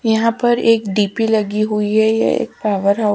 यहां पर एक डी_पी लगी हुई है ये एक पावर ऑफ --